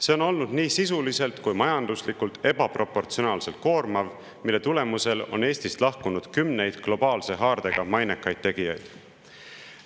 See on olnud nii sisuliselt kui majanduslikult ebaproportsionaalselt koormav, mille tulemusel on Eestist lahkunud kümneid globaalse haardega mainekaid tegijaid.